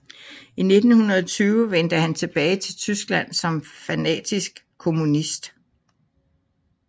I 1920 vendte han tilbage til Tyskland som fanatisk kommunist